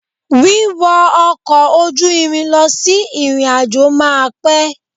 Wíwọ ọkọ̀ ojú irin lọ sí ìrìnàjò máa pẹ́.